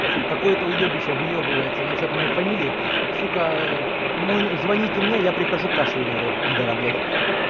похуй какое-то уёбище выёбывается насчёт моей фамилии сука звоните мне я прихожу кашлю на этого пидора блядь